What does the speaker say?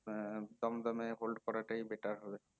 হম দমদম এ hold করাটাই better হবে